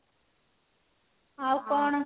ଆଉ କଣ